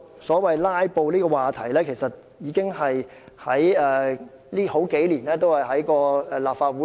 所謂"拉布"的問題，這數年間不斷纏繞立法會。